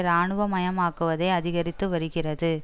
ராணுவமயமாக்குவதை அதிகரித்து வருகிறது